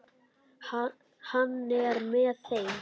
Hann er með þeim.